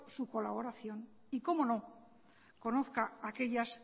su colaboración y cómo no conozca aquellas